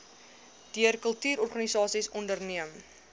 deur kultuurorganisasies onderneem